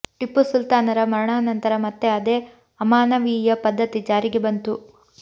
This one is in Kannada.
ಟಿಪ್ಪು ಸುಲ್ತಾನರ ಮರಣಾನಂತರ ಮತ್ತೆ ಅದೇ ಅಮಾನವೀಯ ಪದ್ಧತಿ ಜಾರಿಗೆ ಬಂತು